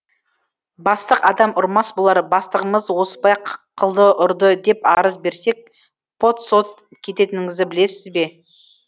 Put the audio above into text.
бастық адам ұрмас болар бастығымыз осыпай қылды ұрды деп арыз берсек пот сот кететініңізді білесіз бе